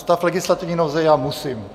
Stav legislativní nouze já musím.